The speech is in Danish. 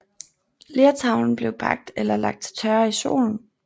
Lertavlen blev bagt eller lagt til tørre i solen